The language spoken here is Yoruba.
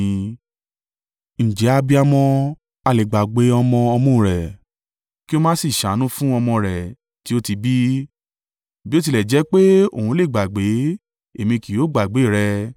“Ǹjẹ́ abiyamọ ha le gbàgbé ọmọ ọmú rẹ̀ kí ó má sì ṣàánú fún ọmọ rẹ̀ tí ó ti bí? Bí ó tilẹ̀ jẹ́ pé òun le gbàgbé, Èmi kì yóò gbàgbé rẹ!